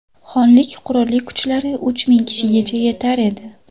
Xonlik qurolli kuchlari uch ming kishigacha yetar edi.